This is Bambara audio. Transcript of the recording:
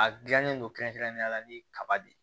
A gilannen don kɛrɛnkɛrɛnnenya la ni kaba de